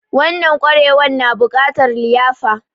Wanan ƙwarewan na bukatar liyafa